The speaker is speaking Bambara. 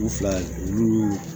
U fila olu